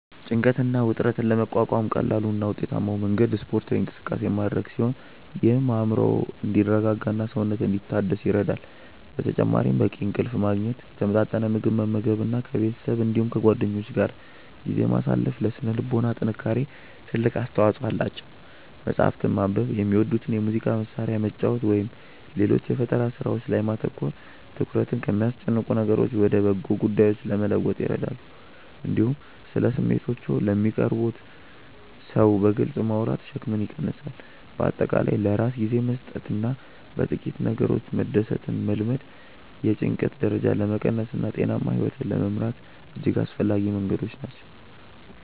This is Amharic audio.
ጭንቀትን እና ውጥረትን ለመቋቋም ቀላሉ እና ውጤታማው መንገድ ስፖርታዊ እንቅስቃሴ ማድረግ ሲሆን ይህም አእምሮ እንዲረጋጋና ሰውነት እንዲታደስ ይረዳል። በተጨማሪም በቂ እንቅልፍ ማግኘት፣ የተመጣጠነ ምግብ መመገብ እና ከቤተሰብ እንዲሁም ከጓደኞች ጋር ጊዜ ማሳለፍ ለሥነ ልቦና ጥንካሬ ትልቅ አስተዋጽኦ አላቸው። መጽሐፍትን ማንበብ፣ የሚወዱትን የሙዚቃ መሣሪያ መጫወት ወይም ሌሎች የፈጠራ ሥራዎች ላይ ማተኮር ትኩረትን ከሚያስጨንቁ ነገሮች ወደ በጎ ጉዳዮች ለመለወጥ ይረዳሉ። እንዲሁም ስለ ስሜቶችዎ ለሚቀርቡዎት ሰው በግልጽ ማውራት ሸክምን ይቀንሳል። በአጠቃላይ ለራስ ጊዜ መስጠትና በጥቂት ነገሮች መደሰትን መልመድ የጭንቀት ደረጃን ለመቀነስና ጤናማ ሕይወት ለመምራት እጅግ አስፈላጊ መንገዶች ናቸው።